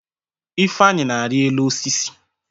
Ifenyị na-arị elu osisi.